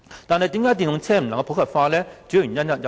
電動車未能普及化的原因有很多。